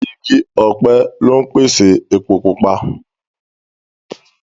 Igi ọ̀pẹ lọ ń pèsè epo Pupa